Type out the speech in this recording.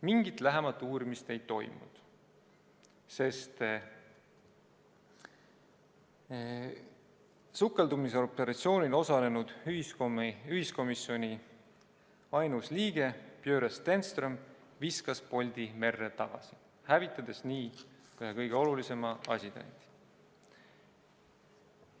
Mingit lähemat uurimist ei toimunud, sest sukeldumisoperatsioonil osalenud ühiskomisjoni ainus liige Börje Stenström viskas poldi merre tagasi, hävitades nii ühe kõige olulisema asitõendi.